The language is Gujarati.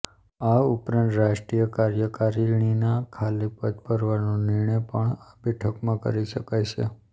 આ ઉપરાંત રાષ્ટ્રીય કાર્યકારીણીના ખાલી પદ ભરવાનો નિર્ણય પણ આ બેઠકમાં કરી શકાય છે